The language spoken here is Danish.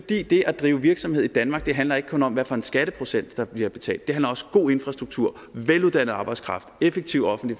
det at drive virksomhed i danmark handler ikke kun om hvad for en skatteprocent der bliver betalt det handler også om god infrastruktur veluddannet arbejdskraft effektiv offentlig